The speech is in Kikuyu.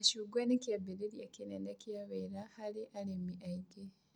Macungwa nĩ kĩambĩrĩria kĩnene kĩa wĩra harĩ arĩmi aingĩ